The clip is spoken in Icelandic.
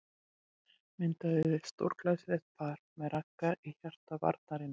Myndaði stórglæsilegt par með Ragga í hjarta varnarinnar.